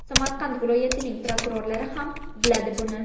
Samarqand viloyatining prokurorlari ham biladi buni.